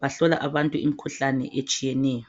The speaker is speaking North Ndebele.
Bahlola imikhuhlane etshiyeneyo.